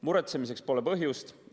Muretsemiseks pole põhjust.